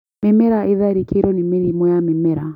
Mĩmera ĩtharĩkĩirwo nĩ mĩrimũ ya mĩmera.